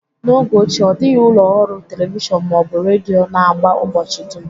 N'oge ochie, ọ dịghị ụlọ ọrụ telivishọn ma ọ bụ redio na-agba ụbọchị dum